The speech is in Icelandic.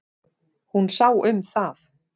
Hún sá um það.